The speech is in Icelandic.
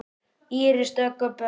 Íris Dögg og börn.